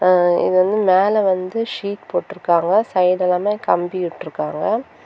அ இது வந்து மேல வந்து ஷீட் போட்ருக்காங்கசைடெல்லாமே கம்பி விட்ருக்காங்க.